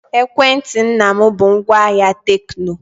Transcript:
Ekwentị nna m bụ ngwaahịa Tekno.